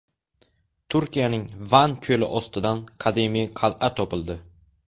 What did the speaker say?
Turkiyaning Van ko‘li ostidan qadimiy qal’a topildi.